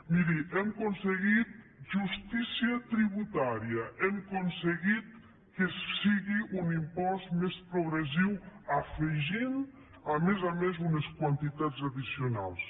miri hem aconseguit justícia tributària hem aconseguit que sigui un impost més progressiu afeginthi a més a més unes quantitats addicionals